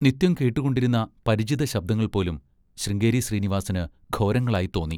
നിത്യം കേട്ടുകൊണ്ടിരുന്ന പരിചിതശബ്ദങ്ങൾപോലും ശൃംഗേരി ശ്രീനിവാസിന് ഘോരങ്ങളായിത്തോന്നി.